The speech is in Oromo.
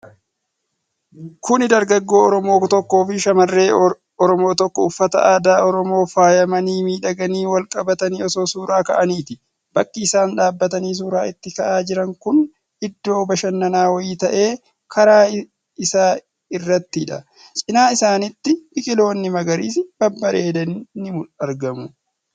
Kuni dargaggoo Oromoo tokkoo fi shamarree Oromoo tokko uffata aadaa Oromoon faayamanii miidhaganii wal qabatanii osoo suura ka'aniiti. Bakki isaan dhaabatanii suura itti ka'aa jiran kun iddoo bashannana wayii ta'ee, karaa isaa irrattidha. Cinaa isaanitti biqiloonni magariisi babbareedan ni argamu.